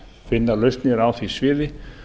finna lausnir á því sviði